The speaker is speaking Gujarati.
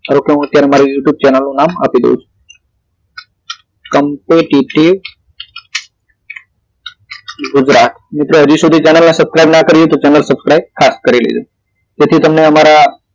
ધારો કે અત્યારે મારી આ youtube channel નું નામ આપી દાવ છું competity gujarat મિત્રો હજી સુધી channel ને subscribe નો કરી હોય તો channel suscribe ખાસ કરી લેજો જેથી તમને અમારા